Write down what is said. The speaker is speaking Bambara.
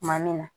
Tuma min na